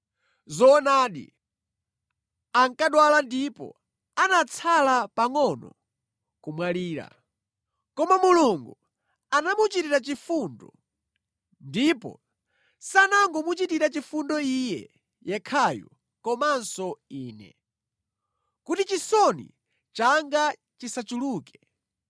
Zoonadi ankadwala ndipo anatsala pangʼono kumwalira. Koma Mulungu anamuchitira chifundo, ndipo sanangomuchitira chifundo iye yekhayu komanso ine, kuti chisoni changa chisachuluke.